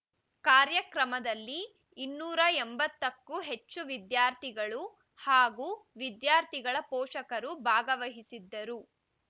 ಕಾರ್ಯಕ್ರಮದಲ್ಲಿ ಇನ್ನೂರ ಎಂಬತ್ತಕ್ಕೂ ಹೆಚ್ಚು ವಿದ್ಯಾರ್ಥಿಗಳು ಹಾಗೂ ವಿದ್ಯಾರ್ಥಿಗಳ ಪೋಷಕರು ಭಾಗವಹಿಸಿದ್ದರು